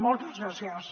moltes gràcies